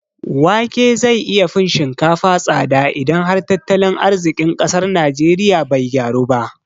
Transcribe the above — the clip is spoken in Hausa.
Wake zai iya fin shinkafa tsada idan har tattalin arziƙin ƙasar najeriya bai gyaru ba